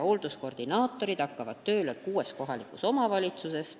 Hoolduskoordinaatorid hakkavad tööle kuues kohalikus omavalitsuses.